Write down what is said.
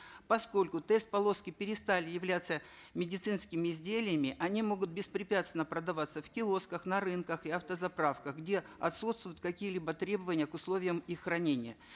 поскольку тест полоски перестали являться медицинскими изделиями они могут беспрепятственно продаваться в киосках на рынках и автозаправках где отсутствуют какие либо требования к условиям их хранения